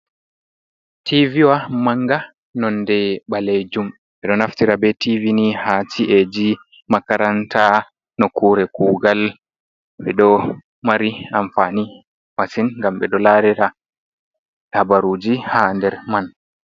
Tiiviwa manga nonde ɓaleejum. Ɓe ɗo naftira be tiivi ni haa ci’eji, makaranta, nokkure kuugal, ɓe ɗo mari amfani masin ngam ɓe ɗo laarira habaruuji haa nder man.